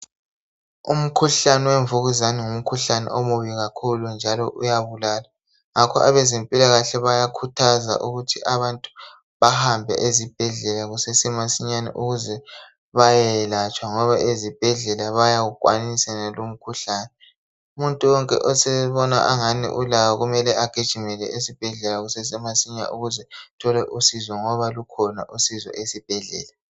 Umkhuhlane wemvukuzane ngumkhuhlane omubi kakhulu njalo uyabulala ngakho ebezempilakahle bayakhuthaza ukuthi abantu bahambe ezibhedlela kusesemasinyane ukuze bayelatshwa ngoba ezibhedlela bayawukwanisa yenalo umkhuhlane. Umuntu wonke osebona angani ulawo kumele agijimele esibhedlela kusesemasinya ukuze athole usizo ngoba lukhona usizo esibhedlela.